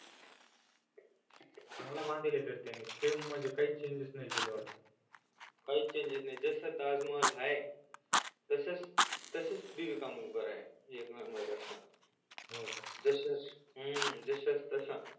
चांगल बांधलेलय तर त्यानी सेम म्हणजे काही चेजेंस नाही केल वाटत त्यानी काहीच चेजेंस नाही जसा ताजमहल हाय तसच बीबी का मकबराय एक number असा हो का हूं जशास तसा